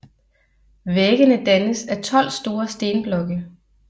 Væggene dannes af 12 store stenblokke